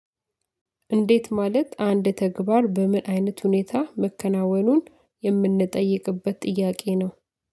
እንዴት ማለት አንድ ተግባር በምን አይነት ሁኔታ መከናወኑን የምንጠይቅበት ጥያቄ ነው።